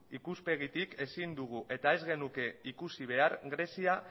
ikuspegitik ezin dugu eta ez genuke ikusi behar grezia